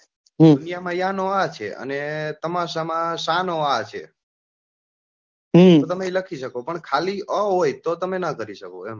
દુનિયા માં યા નો આ છે ને તમાશા માં શા નો આ છે તો તમે લખી શકો પણ ખાલી આ હોય તો નાં કરી શકો એમ.